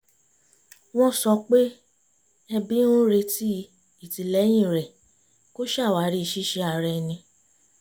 wọ́n sọ pé ẹbí ń retí ìtìlẹ́yìn rẹ̀ kó ṣàwárí ṣíṣe ara ẹni